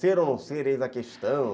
Ser ou não ser, eis a questão